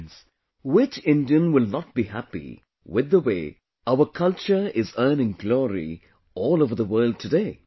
Friends, which Indian will not be happy with the way our culture is earning glory all over the world today